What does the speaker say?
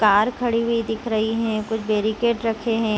Car खड़ी हुई दिख रही है कुछ बैरिकेड रखे है।